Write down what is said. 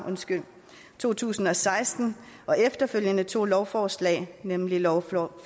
to tusind og seksten og efterfølgende to lovforslag nemlig lovforslag